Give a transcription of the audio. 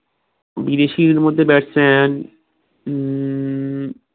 বিদেশির মধ্যে batsman উম